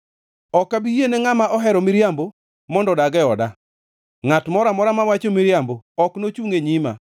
Ok abi yiene ngʼama ohero miriambo mondo odag e oda; ngʼat moro amora mawacho miriambo ok nochungʼ e nyima.